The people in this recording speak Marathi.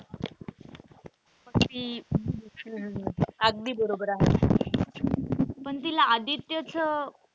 मग ती अगदी बरोबर आहे पण तिला आदित्यच,